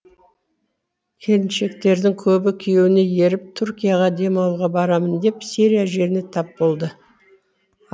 келіншектердің көбі күйеуіне еріп түркияға демалуға барамын деп сирия жеріне тап болды